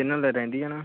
ਲੈਣਾ